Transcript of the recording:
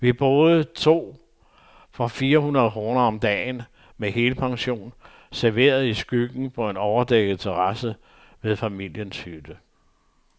Vi boede to for fire hundrede kroner om dagen, med helpension, serveret i skyggen på en overdækket terrasse ved familiens hytte.